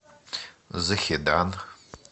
захедан